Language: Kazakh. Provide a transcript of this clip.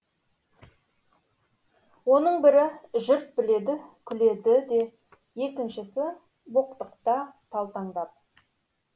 оның бірі жұрт біледі күледі де екіншісі боқтықта талтаңдап